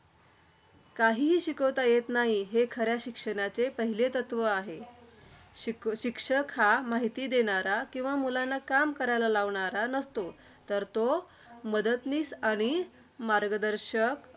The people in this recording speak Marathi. काहीही शिकविता येत नाही, हे खऱ्या शिक्षणाचे पहिले तत्त्व आहे. शिक शिक्षक हा माहिती देणारा किंवा मुलांना काम करायला लावणारा नसतो तर तो मदतनीस आणि मार्गदर्शक.